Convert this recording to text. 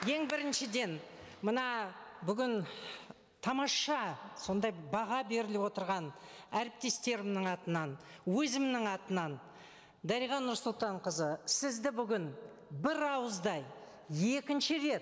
ең біріншіден мына бүгін тамаша сондай баға беріліп отырған әріптестерімнің атынан өзімнің атынан дариға нұрсұлтанқызы сізді бүгін бір ауыздай екінші рет